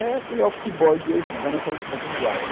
Era aquele office boy de hoje, dessa linguagem.